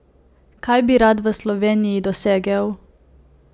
Kaj bi rad v Sloveniji dosegel?